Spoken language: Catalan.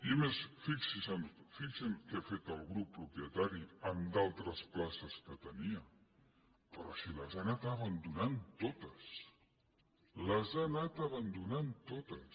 i a més fixin se què ha fet el grup propietari amb d’altres places que tenia però si les ha anat abandonat totes les ha anat abandonant totes